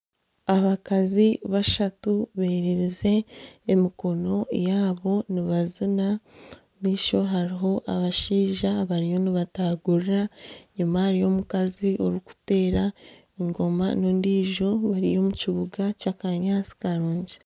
Abakazi bashatu bererize emikono yabo nibazina, omu maisho hariho abashaija bariyo nibatagurira enyima hariyo omukazi orikutera engoma n'ondijo bari omu kibuga ky'akanyaantsi karungi.